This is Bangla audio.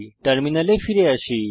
টার্মিনালে ফিরে আসি